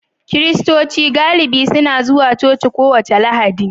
Kiristoci galibi suna zuwa coci kowace Lahadi